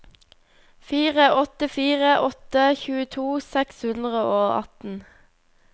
fire åtte fire åtte tjueto seks hundre og atten